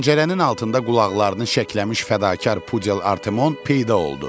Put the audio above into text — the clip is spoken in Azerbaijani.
Pəncərənin altında qulaqlarını şəkləmiş fədakar pudel Artemon peyda oldu.